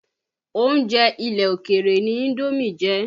Oúnjẹ ilẹ̀ òkèrè ni Indómì jẹ́.